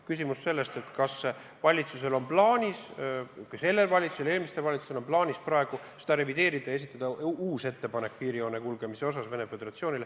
Kas sellel valitsusel on plaanis seda praegu revideerida ja esitada Venemaa Föderatsioonile uus ettepanek piirijoone kulgemise kohta?